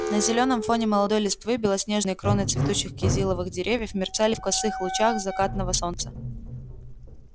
на зелёном фоне молодой листвы белоснежные кроны цветущих кизиловых деревьев мерцали в косых лучах закатного солнца